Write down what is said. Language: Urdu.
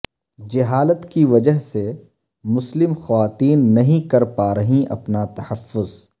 جہالت کی وجہ سے مسلم خواتین نہیں کر پا رہیں اپنا تحفظ